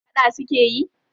Faɗa suke yi?